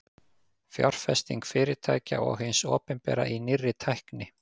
fjárfesting fyrirtækja og hins opinbera í nýrri tækni